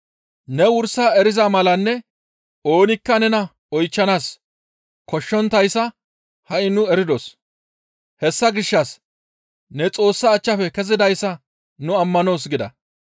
Ne wursa eriza malanne oonikka nena oychchanaas koshshonttayssa ha7i nu eridos; hessa gishshas ne Xoossa achchafe kezidayssa nu ammanoos» gida.